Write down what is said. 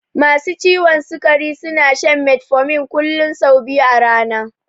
Masu ciwon sikari suna shan metformin kullun sau biyu a rana